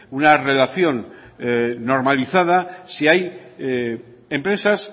una relación normalizada si hay empresas